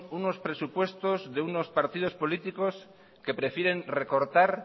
unos presupuestos de unos partidos políticos que prefieren recortar